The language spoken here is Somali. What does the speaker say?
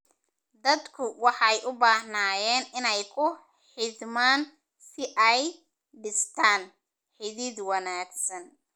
Dadku waxay u baahnaayeen inay ku xidhmaan oo ay dhistaan ??xidhiidh wanaagsan.